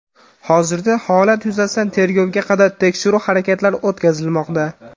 Hozirda holat yuzasidan tergovga qadar tekshiruv harakatlari o‘tkazilmoqda.